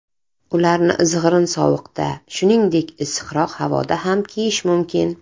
Ularni izg‘irin sovuqda, shuningdek, issiqroq havoda ham kiyish mumkin.